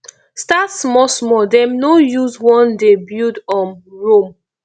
start small small dem no use one day build um rome